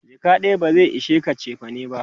jaka ɗaya ba zai ishe ka chefane ba